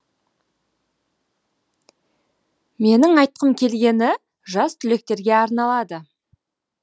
менің айтқым келгені жас түлектерге арналады